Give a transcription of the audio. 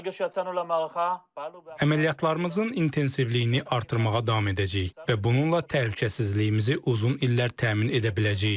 Əməliyyatlarımızın intensivliyini artırmağa davam edəcəyik və bununla təhlükəsizliyimizi uzun illər təmin edə biləcəyik.